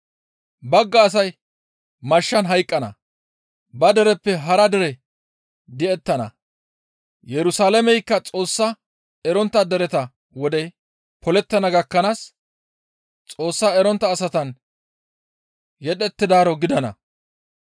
Bagga asay mashshan hayqqana; ba dereppe hara dere di7ettana; Yerusalaameykka Xoos erontta dereta wodey polettana gakkanaas, Xoos erontta asatan yedhettidaaro gidana.